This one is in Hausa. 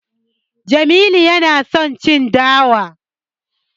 Jamilu yana son abinci da yawa.